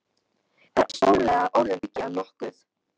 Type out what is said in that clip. Það er stórlega orðum aukið að nokkuð.